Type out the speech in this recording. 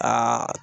Aa